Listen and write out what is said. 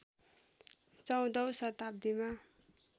१४ औं शताब्दीमा